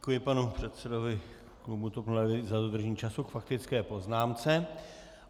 Děkuji panu předsedovi klubu TOP 09 za dodržení času k faktické poznámce.